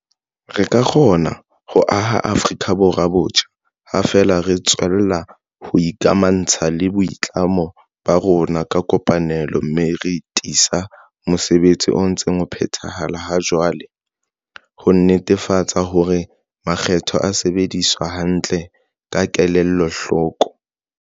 Re ka kgona ho aha Afrika Borwa botjha ha feela re tswella ho ikamaha ntsha le boitlamo ba rona ka kopanelo, mme re tiisa mosebetsi o ntseng o phethahala ha jwale ho netefatsa hore makgetho a sebediswa hantle ka kela hloko.